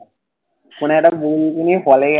শুনে একটা বৌকে নিয়ে